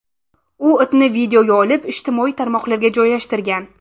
U itni videoga olib, ijtimoiy tarmoqlarga joylashtirgan.